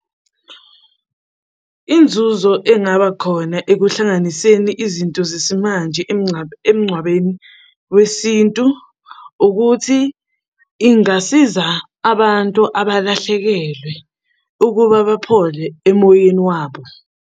Inzuzo engaba khona ekuhlanganiseni izinto zesimanje emngcwabeni wesintu ukuthi ingasiza abantu abalahlekelwe ukuba baphole emoyeni wabo.